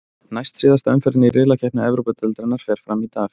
Næst síðasta umferðin í riðlakeppni Evrópudeildarinnar fer fram í dag.